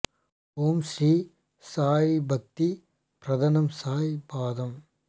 ஓம் ஸ்ரீ சாயி பக்தி ப்ரதானம் சாயி பாதம்